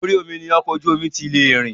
Orí omi ni ọkọ̀ ojú omi ti lè rìn.